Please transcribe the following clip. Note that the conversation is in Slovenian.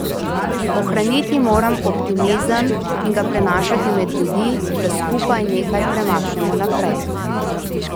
Ohraniti moram optimizem in ga prenašati med ljudi, da skupaj nekaj premaknemo naprej.